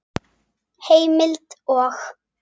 Heimild og